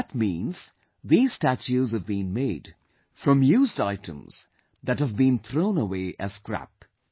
That means these statues have been made from used items that have been thrown away as scrap